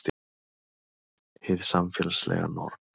Hið samfélagslega norm